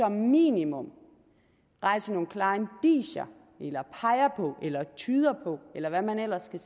minimum rejser nogle klare indicier eller peger på eller tyder på eller hvad man ellers kan